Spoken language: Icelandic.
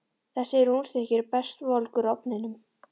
Þessi rúnstykki eru best volg úr ofninum.